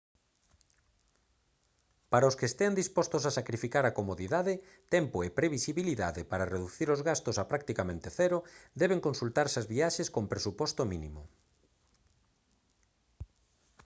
para os que estean dispostos a sacrificar a comodidade tempo e previsibilidade para reducir os gastos a practicamente cero deben consultarse as viaxes con presuposto mínimo